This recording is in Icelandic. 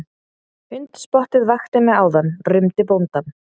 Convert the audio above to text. Hundspottið vakti mig áðan rumdi bóndinn.